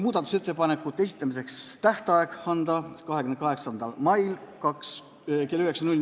Muudatusettepanekute esitamise tähtajaks otsustati määrata 28. mai kell 9.